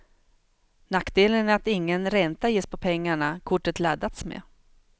Nackdelen är att ingen ränta ges på pengarna kortet laddats med.